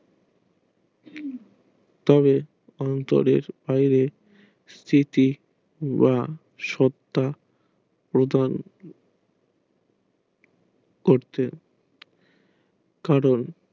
তবে অন্তরের বাইরে স্তিতি বা সত্তা এবং করতো কারণ